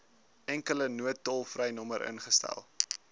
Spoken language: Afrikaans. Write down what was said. enkele noodtolvrynommer ingestel